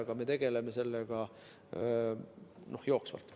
Aga me tegeleme sellega jooksvalt.